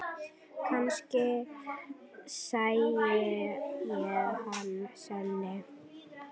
Kannski sæi ég hann seinna.